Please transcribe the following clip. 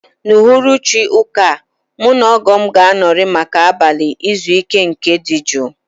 N'uhuruchi ụbọchị ụka a, mụ na ogoo m ga-anọrị maka abalị izu ike na nke dị jụụ